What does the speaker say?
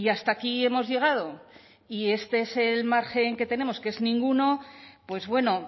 hasta aquí hemos llegado y este es el margen que tenemos que es ninguno pues bueno